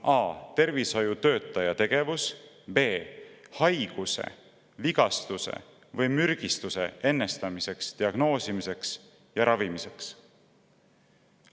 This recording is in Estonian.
– a) tervishoiutöötaja tegevus b) haiguse, vigastuse või mürgistuse ennetamiseks, diagnoosimiseks ja ravimiseks.